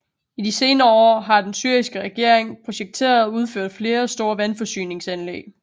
I de senere år har den syriske regering projekteret og udført flere store vandforsyningsanlæg